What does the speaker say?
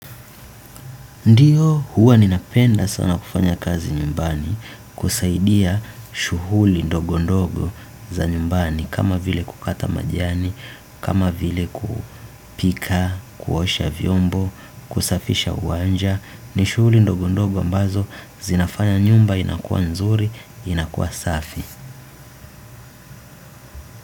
Ndiyo huwa ninapenda sana kufanya kazi nyumbani kusaidia shughuli ndogo ndogo za nyumbani kama vile kukata majiani, kama vile kupika, kuosha vyombo, kusafisha uwanja ni shughuli ndogo ndogo ambazo zinafanya nyumba inakuwa nzuri, inakuwa safi.